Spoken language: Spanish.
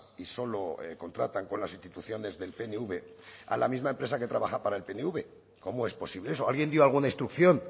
y solo contratan con las instituciones del pnv a la misma empresa que trabaja para el pnv cómo es posible eso alguien dio alguna instrucción